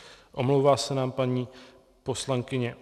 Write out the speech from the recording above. Omlouvá se nám paní poslankyně